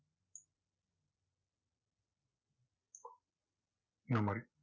இந்த மாதிரி